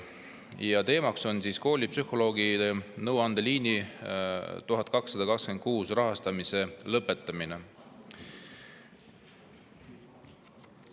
Selle teema on koolipsühholoogide nõuandeliini 1226 rahastamise lõpetamine.